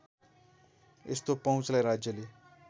यस्तो पहुँचलाई राज्यले